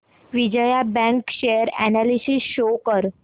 Vijaya bank share analysis show कर